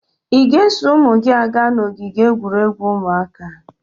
Ị ga-eso ụmụ gị aga n'ogige egwuregwu ụmụaka?